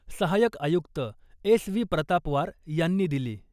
सहायक आयुक्त S .V. Pratapwar यांनी दिली .